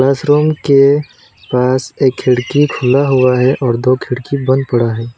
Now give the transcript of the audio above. इस रूम के पास एक खिड़की खुला हुआ है और दो खिड़की बंद पड़ा है।